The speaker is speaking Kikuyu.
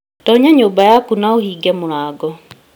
Tonya nyũmba yaku na ũhinge mũrango